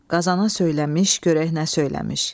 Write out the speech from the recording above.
Qazana söyləmiş, görək nə söyləmiş.